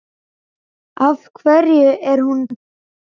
Af hverju er hún týnd?